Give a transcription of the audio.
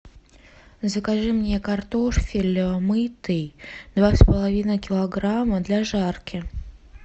закажи мне картофель мытый два с половиной килограмма для жарки